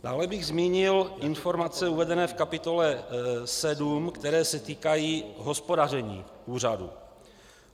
Dále bych zmínil informace uvedené v kapitole 7, které se týkají hospodaření úřadu.